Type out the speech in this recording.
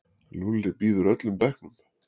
Lúlli býður öllum bekknum.